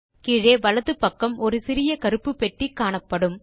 கீழே வலது பக்கம் ஒரு சிறிய கருப்பு பெட்டி காணப்படும்